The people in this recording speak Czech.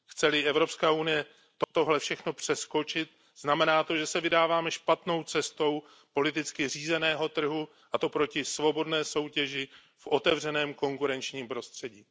Chce li Evropská unie tohle všechno přeskočit, znamená to, že se vydáváme špatnou cestou politicky řízeného trhu, a to proti svobodné soutěži v otevřeném konkurenčním prostředí.